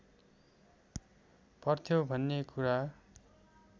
पर्थ्यो भन्ने कुरा